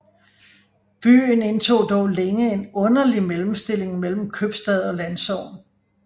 Byen indtog dog længe en underlig mellemstilling mellem købstad og landsogn